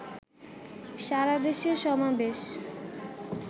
সারাদেশে সমাবেশ